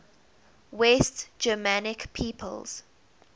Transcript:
west germanic peoples